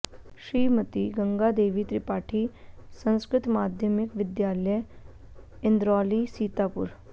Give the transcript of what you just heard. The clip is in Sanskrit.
श्रीमती गंगा देवी त्रिपाठी संस्कृत माध्यमिक विद्यालय इन्द्रौली सीतापुर